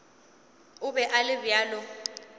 o be a le bjalo